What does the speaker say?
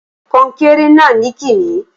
kònkere na nikimi